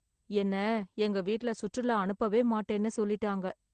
என்ன எங்க வீட்டுல சுற்றுலா அனுப்பவே மாட்டேன்னு சொல்லிட்டாங்க